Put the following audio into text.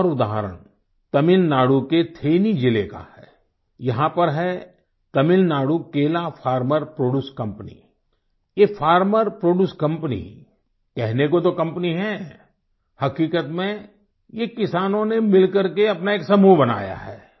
एक और उदाहरण तमिलनाडु के थेनि जिले का है यहाँ पर है तमिलनाडु केला फार्मर प्रोड्यूस कंपनी ये फार्मर प्रोड्यूस कंपनी कहने को तो कंपनी है हकीकत में ये किसानों ने मिल करके अपना एक समूह बनाया है